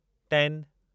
ten